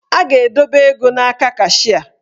A ga-edobe ego n'aka kashịa.